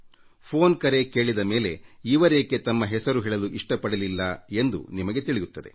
phone ಕರೆ ಕೇಳಿದ ಮೇಲೆ ಇವರೇಕೆ ತಮ್ಮ ಹೆಸರು ಹೇಳಲು ಇಷ್ಟ ಪಡಲಿಲ್ಲ ಎಂದು ನಿಮಗೇ ತಿಳಿಯುತ್ತದೆ